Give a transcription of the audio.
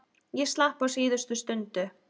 Ég slapp á síðustu stundu.